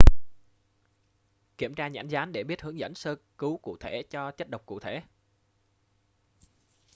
kiếm tra nhãn dán để biết hướng dẫn sơ cứu cụ thể cho chất độc cụ thể